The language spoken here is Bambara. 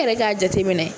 E yɛrɛ k'a jateminɛ